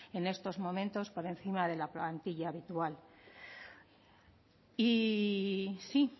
en estos momentos por encima de la plantilla habitual y sí